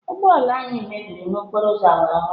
Ụgbọ ala anyị mebịrị n'okporo ụzọ awara awara.